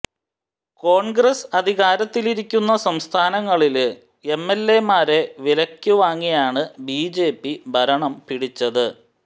കോണ്ഗ്രസ് അധികാരത്തിലിരിക്കുന്ന സംസ്ഥാനങ്ങളില് എംഎല്എമാരെ വിലയ്ക്ക് വാങ്ങിയാണ് ബിജെപി ഭരണം പിടിച്ചത്